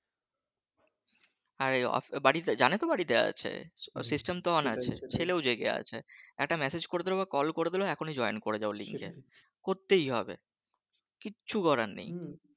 আর বাড়িতে জানে তো বাড়িতে আছে system তো ও আছে ছেলেও জেগে আছে একটা message করে দিলেও কল করে দিলেও এক্ষুনি join করে যাবে করতেই হবে কিচ্ছু করার নেই